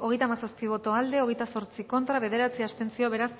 hogeita hamazazpi boto aldekoa hogeita zortzi contra bederatzi abstentzio beraz